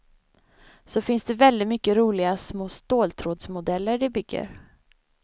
Så finns det väldigt mycket roliga små ståltrådsmodeller de bygger.